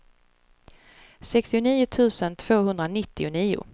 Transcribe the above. sextionio tusen tvåhundranittionio